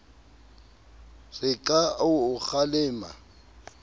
re ke a o kgalema